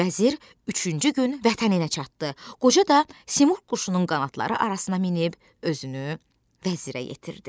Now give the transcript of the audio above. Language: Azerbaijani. Vəzir üçüncü gün vətəninə çatdı, qoca da Simurq quşunun qanadları arasına minib özünü vəzirə yetirdi.